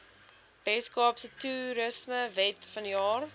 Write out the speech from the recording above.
weskaapse toerismewet vanjaar